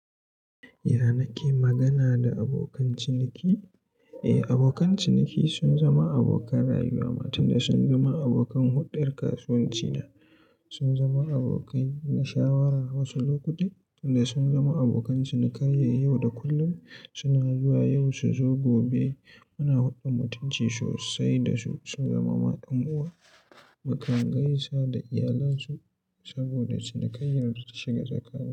Ya nake magana da abokan ciniki? Eh, abokan ciniki sun zama abokan rayuwa, tun da sun zama abokan huɗar kasuwanci na. Sun zama abokai na shawara wasu lokuta tun da sun zama abokan cinikayya. Yau da kullum suna zuwa, yau su zo, gobe muna huɗdan mutunci sosai da su. Sun zama ma yan uwa, mukan gaisa da iyalansu saboda cinikayyar da ta shiga tsaka.